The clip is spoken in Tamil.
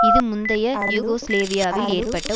இது முந்தைய யூகோஸ்லேவியாவில் ஏற்பட்ட